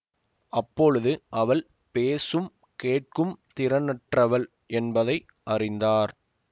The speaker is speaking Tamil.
அப்பொழுது அவள் பேசும் கேட்கும் திறனற்றவள் என்பதை அறிந்தார்